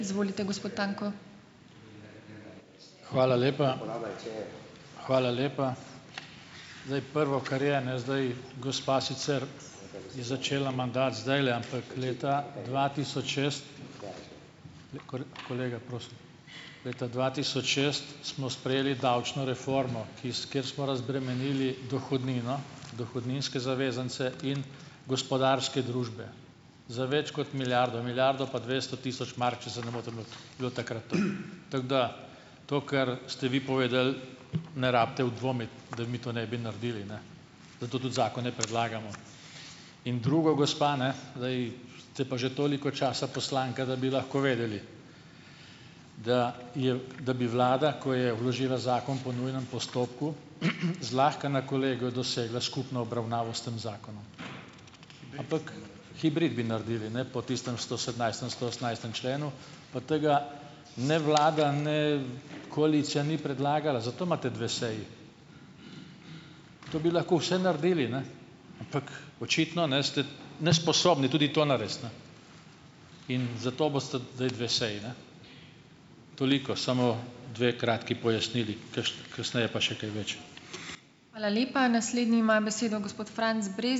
Hvala lepa. Hvala lepa Zdaj, prvo, kar je, ne, zdaj gospa sicer je začela mandat zdajle, ampak leta dva tisoč šest, leta dva tisoč šest smo sprejeli davčno reformo, ki s kjer smo razbremenili dohodnino, dohodninske zavezance in gospodarske družbe za več kot milijardo, milijardo pa dvesto tisoč mark, če se ne motim, je bilo takrat to. Tako da to, kar ste vi povedali, ne rabite v dvomiti, da mi to ne bi naredili, ne, zato tudi zakone predlagamo. In drugo, gospa, ne, zdaj ste pa že toliko časa poslanka, da bi lahko vedeli, da je da bi vlada, ko je vložila zakon po nujnem postopku, zlahka na kolegiju dosegla skupno obravnavo s tem zakonom, hibrid bi naredili, ne, po tistem stosedemnajstem, stoosemnajstem členu. Pa tega ne vlada, ne koalicija ni predlagala, zato imate dve seji. To bi lahko vse naredili, ne, ampak očitno, ne, ste nesposobni tudi to narediti, ne, in zato bosta zdaj dve seji, ne. Toliko, samo dve kratki pojasnili, kasneje pa še kaj več.